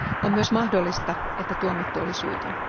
On myös mahdollista, että tuomittu oli syytön.